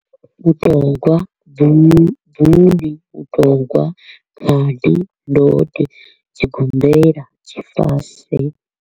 Mutogwa, mutogwa, khadi, ndode, tshigombela, tshifase.